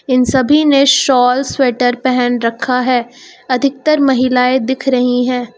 इन सभी ने shawl sweater पहन रखा है अधिकतर महिलाएं दिख रही हैं।